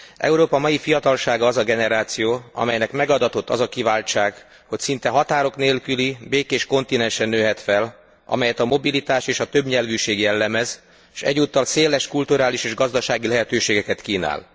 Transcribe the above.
Európa fiatalsága az a generáció, amelynek megadatott az a kiváltság, hogy szinte határok nélküli, békés kontinensen nőhet fel, amelyet a mobilitás és a többnyelvűség jellemez, s egyúttal széles kulturális és gazdasági lehetőségeket kínál.